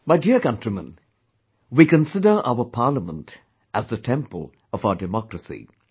My dear countrymen, we consider our Parliament as the temple of our democracy